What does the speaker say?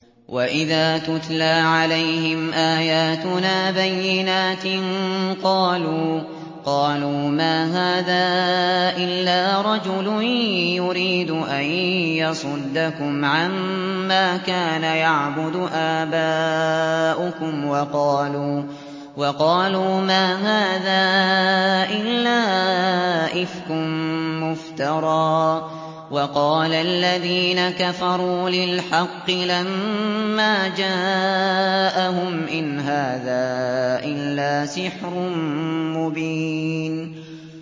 وَإِذَا تُتْلَىٰ عَلَيْهِمْ آيَاتُنَا بَيِّنَاتٍ قَالُوا مَا هَٰذَا إِلَّا رَجُلٌ يُرِيدُ أَن يَصُدَّكُمْ عَمَّا كَانَ يَعْبُدُ آبَاؤُكُمْ وَقَالُوا مَا هَٰذَا إِلَّا إِفْكٌ مُّفْتَرًى ۚ وَقَالَ الَّذِينَ كَفَرُوا لِلْحَقِّ لَمَّا جَاءَهُمْ إِنْ هَٰذَا إِلَّا سِحْرٌ مُّبِينٌ